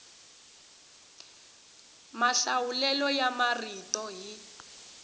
mahlawulelo ya marito hi